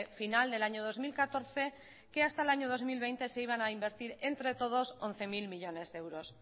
final del año dos mil catorce que hasta el año dos mil veinte se iban a invertir entre todos once mil millónes de euros